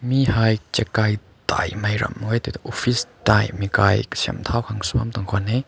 mi hai chakai thai mai ram makew office thai mi kai kasem thow khan su bam tung koi weh.